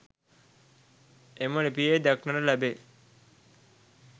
එම ලිපියේ දක්නට ලැබේ.